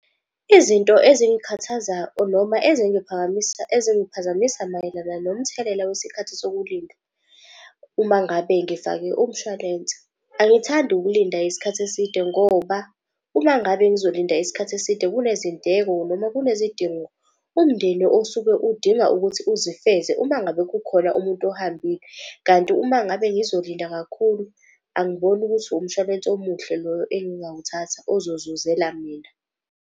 Izinto noma ezingiphazamisa mayelana nomthelela wesikhathi sokulinda. Uma ngabe ngifake umshwalense, angithandi ukulinda isikhathi eside ngoba uma ngabe ngizolinda isikhathi eside. Kunezindleko noma kunezidingo umndeni osuke udinga ukuthi uzifeze uma ngabe kukhona umuntu ohambile. Kanti uma ngabe ngizolinda kakhulu, angiboni ukuthi umshwalense omuhle loyo engawuthatha ozozuzela mina.